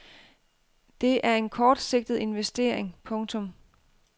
Det er en kortsigtet investering. punktum